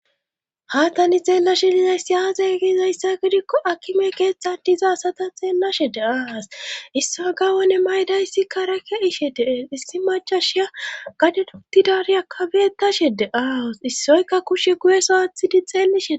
haatani xeella shelizay si aaza gizayssa gidikko akime keetxa dizasata xeellashe de aas issoy gawone maydayssi karake ishe deen issi macashiya gade dotidari akabeetashe de aas issoyka kushe guyesawathidi xeellishe